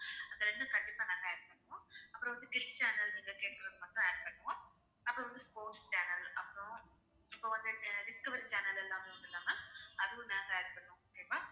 இது ரெண்டும் கண்டிப்பா நாங்க add பண்ணுவோம் அப்பறம் வந்து kids channel வந்து add பண்ணுவோம் அப்புறம் வந்து sports channel அப்புறம் இப்போ வந்து discovery channel எல்லாமே வந்து நாங்க அதுவும் நாங்க add பண்ணுவோம் okay வா